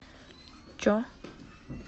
че